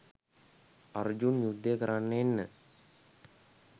අර්ජුන් යුද්ධ කරන්න එන්න